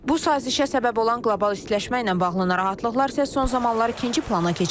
Bu sazişə səbəb olan qlobal istiləşmə ilə bağlı narahatlıqlar isə son zamanlar ikinci plana keçib.